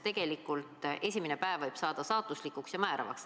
Tegelikult võib esimene päev saada saatuslikuks ja määravaks.